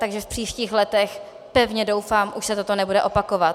Takže v příštích letech, pevně doufám, se toto už nebude opakovat.